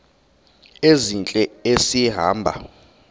ezintle esi hamba